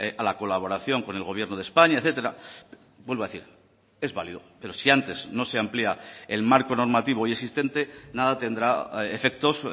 a la colaboración con el gobierno de españa etcétera vuelvo a decir es válido pero si antes no se amplía el marco normativo hoy existente nada tendrá efectos